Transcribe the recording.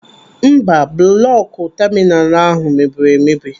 Mba, bụlọkụ taminalu ahụ mebiri emebi.